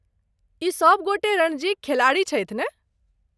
ई सभ गोटे रणजीक खिलाड़ी छथि ने?